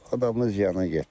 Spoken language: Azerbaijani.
adamın ziyanı getdi.